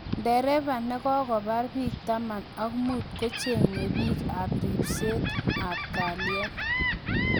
Dereva nokopar bik taman ak muut kocheenge bik ap ripset�ap�kaliet